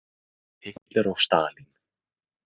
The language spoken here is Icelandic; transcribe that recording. Hitler og Stalín!